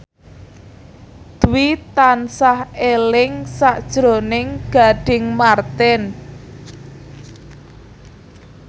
Dwi tansah eling sakjroning Gading Marten